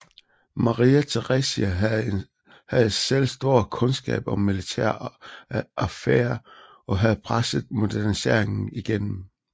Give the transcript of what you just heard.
Maria Theresia havde selv stor kundskab om militære affærer og havde presset moderniseringen igennem